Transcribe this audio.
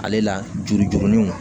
Ale la juru juruninw